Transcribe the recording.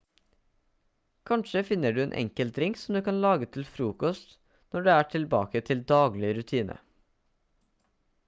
kanskje finner du en enkel drink som du kan lage til frokost når du er tilbake til daglig rutine